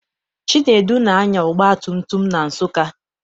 Chinedu na-anya ọgbatumtum na Nsụka.